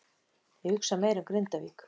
Ég hugsa meira um Grindavík.